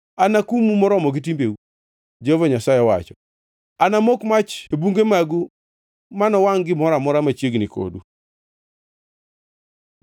Anakumu moromo gi timbeu, Jehova Nyasaye owacho. Anamok mach e bunge magu manowangʼ gimoro amora machiegni kodu.’ ”